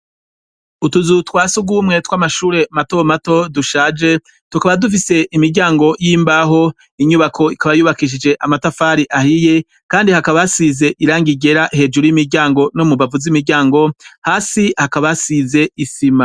Utuzu twasi ugumwe twe amashure matomato dushaje tukaba dufise imiryango y'imbaho inyubako ikabayubakishije amatafari ahiye, kandi hakabasize iranga igera hejuru y'imiryango no mu bavu z'imiryango hasi hakabasize isima.